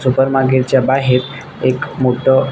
super मार्केटच्या बाहेर एक मोठ--